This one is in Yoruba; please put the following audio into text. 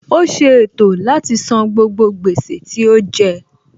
Ó ṣe ètò láti san gbogbo gbèsè tí ó jẹ